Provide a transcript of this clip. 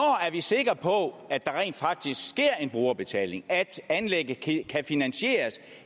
er vi sikre på at der rent faktisk sker en brugerbetaling altså at anlægget kan finansieres